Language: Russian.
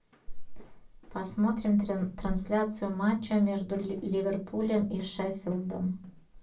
посмотрим трансляцию матча между ливерпулем и шеффилдом